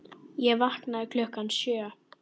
Ég vaknaði klukkan sjö.